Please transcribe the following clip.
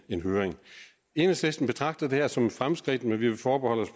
en høring enhedslisten betragter det her som et fremskridt men vi vil forbeholde